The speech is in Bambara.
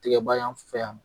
Tɛgɛba y'an fɛ yan